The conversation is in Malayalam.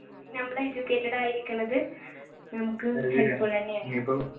ഞമ്മള് educated ആയി ഇരിക്കുന്നത്